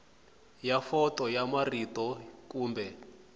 ya fonto ya marito kumbe